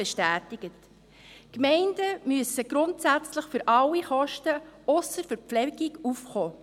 Die Gemeinden müssen grundsätzlich für alle Kosten, ausser für die Verpflegungskosten, aufkommen.